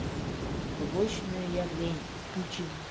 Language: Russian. побочное явление включи мне